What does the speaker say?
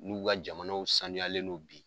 N'u ka jamanaw sanuyalen n'o bi.